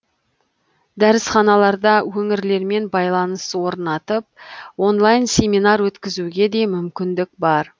дәрісханаларда өңірлермен байланыс орнатып онлайн семинар өткізуге де мүмкіндік бар